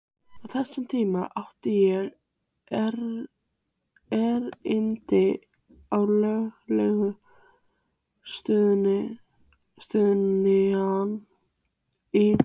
Á þessum tíma átti ég erindi á lögreglustöðina í